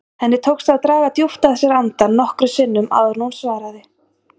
Henni tókst að draga djúpt að sér andann nokkrum sinnum áður en hún svaraði.